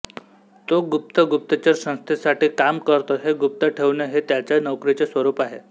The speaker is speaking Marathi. तो गुप्त गुप्तचर संस्थेसाठी काम करतो हे गुप्त ठेवणे हे त्याच्या नोकरीचे स्वरूप आहे